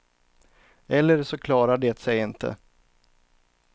Eller så klarar det sig inte.